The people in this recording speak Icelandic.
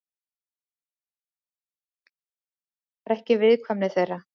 Líkar ekki viðkvæmni þeirra.